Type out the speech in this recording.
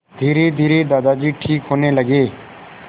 धीरेधीरे दादाजी ठीक होने लगे